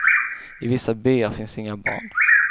I vissa byar finns inga barn.